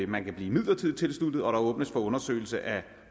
man kan blive midlertidigt tilsluttet og der åbnes for undersøgelse af